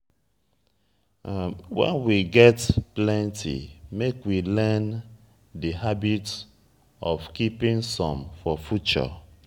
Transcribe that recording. when we get plenty make we learn di habit of keeping some for future